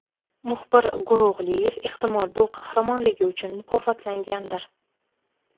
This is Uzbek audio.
Muxbir Go‘ro‘g‘liyev, ehtimol, bu qahramonligi uchun mukofotlangandir.